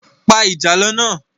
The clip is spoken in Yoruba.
Pa ìjàlọ náà